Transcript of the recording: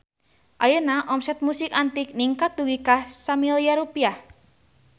Ayeuna omset Musik Antik ningkat dugi ka 1 miliar rupiah